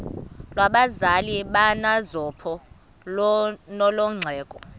lwabazali bakanozpho nolwexhego